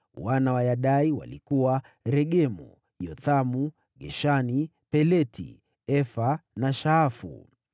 Wana wa Yadai walikuwa: Regemu, Yothamu, Geshani, Peleti, Efa na Shaafu.